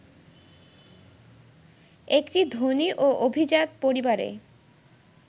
একটি ধনী ও অভিজাত পরিবারে